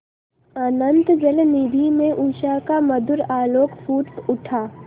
अनंत जलनिधि में उषा का मधुर आलोक फूट उठा